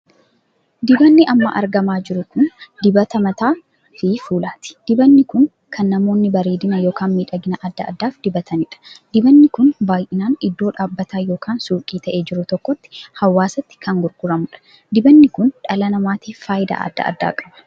Dibanni amma argamaa jiru kun dibata mataa fi fuulaati. dibanni kun kan namoonni bareedinaa ykn miidhagina addaa addaaf dibataniidha. dibanni kun baay'inaan iddoo dhaabbataa ykn suukii tahee jiru tokkotti hawaasatti kan gurguramuudha. dibanni kun dhala namaatiif faayidaa addaa addaa qaba.